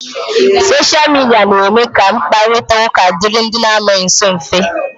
Soshia Midia na-eme ka mkparita ụka dịịrị ndị anọghị nsọ mfe.